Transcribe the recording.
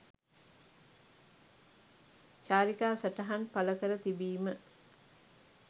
චාරිකා සටහන් පල කර තිබීම.